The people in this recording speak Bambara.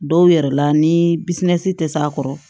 Dɔw yɛrɛ la ni bisimilasi tɛ s'a kɔrɔ